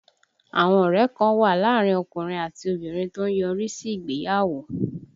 Àwọn ọ̀rẹ́ kan wà láàárín ọkùnrin àti obìnrin tó ń yọrí sí ìgbéyàwó